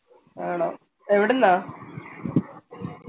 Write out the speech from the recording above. ആണോ എവിടുന്നാ